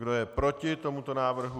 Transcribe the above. Kdo je proti tomuto návrhu?